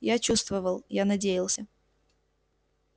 я чувствовал я надеялся